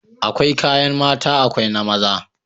Akwai kayan mata akwai na maza